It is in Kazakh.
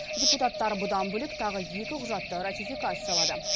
депутаттар бұдан бөлек тағы екі құжатты ратификациялады